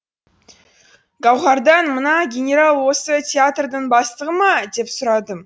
гауһардан мына генерал осы театрдың бастығы ма деп сұрадым